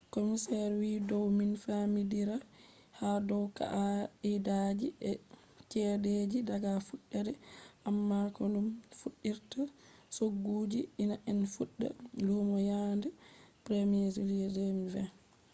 commisioner wiiyo dow min famidirai ha dow kaa’idaaji e chedeji daga fuddede amma komin fuddirta chogguji hean en fudda lumo yaande july 1 2020